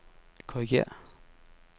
korrigér